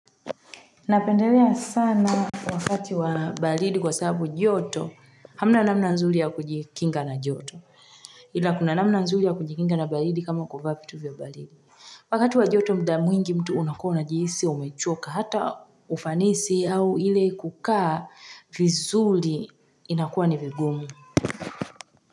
Napendelea sana wakati wabaridi kwa sababu joto hamna namna nzuri ya kujikinga na jyoto ila kuna namna nzuri ya kujikinga na baridi kama kwa vitu vya baridi wakati wajoto muda mwingi mtu unakona jihisi umechoka hata ufanisi au ile kukaa vizuri inakuwa ni vigumu.